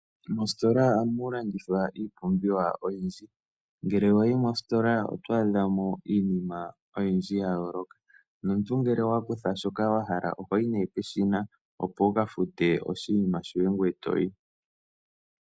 Mositola ohamu landithwa iipumbiwa oyindji. Ngele wa yi mositola oto adha mo iinima oyindji ya yooloka nomuntu ngele owa kutha shoka wa hala oho yi nee peshina opo wu ka fute oshinima shoye ngoye e to yi.